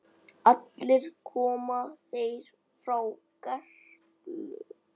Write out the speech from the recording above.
Allir koma þeir frá Gerplu.